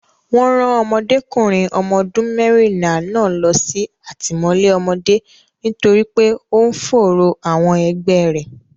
Wọn rán Ọmọdékùnrin ọmọ ọdún mẹ́rìnlá náà lọ sí àtìmọ́lé ọmọdé nítorí pé ó ń fòòró àwọn ẹgbẹ́ rẹ̀.